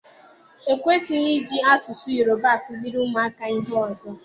E kwesịghị iji asụsụ Yoruba akụziri ụmụaka ihe ọzọ!